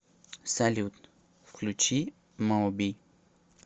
салют включи моби